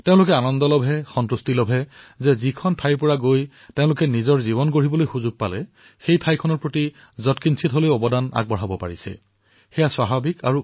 তেওঁলোকৰ আনন্দ এয়াই যে যি স্থানত তেওঁলোকে নিজৰ জীৱন গঢ়িছিল সেই স্থানৰ পৰা আনসকলো যাতে আগবাঢ়ি আহিব পাৰে